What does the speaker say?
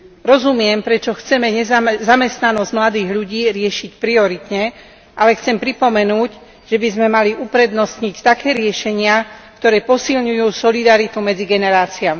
Rozumiem, prečo chceme zamestnanosť mladých ľudí riešiť prioritne, ale chcem pripomenúť, že by sme mali uprednostniť také riešenia, ktoré posilňujú solidaritu medzi generáciami.